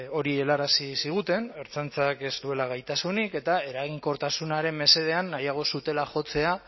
hori helarazi ziguten ertzaintzak ez duela gaitasunik eta eraginkortasunaren mesedean nahiago zutela jotzea